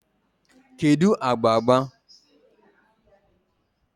kedu agba agba?